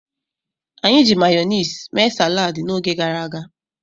Anyi ji mayonezi mee salad n'oge garaga